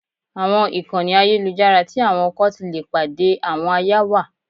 Àwọn ìkànnì ayélujára tí àwọn ọkọ ti le pàdé àwọn aya wà.